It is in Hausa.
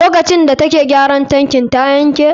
Lokacin da take gyara tankin ta yanke?